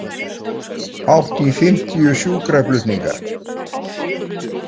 Hátt í fimmtíu sjúkraflutningar